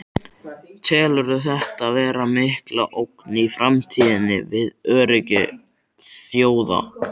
Telurðu þetta vera mikla ógn í framtíðinni við öryggi þjóða?